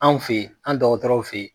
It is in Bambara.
Anw fe ye, an' dɔgɔtɔrɔw fe ye